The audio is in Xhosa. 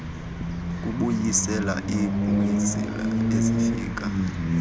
kubuyisela iipasile ezifika